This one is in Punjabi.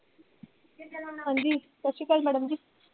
ਠੀਕ ਹੈ madam ਹਾਂਜੀ. ਸਤਿ ਸ੍ਰੀੂ ਅਕਾਲ madam ਜੀ,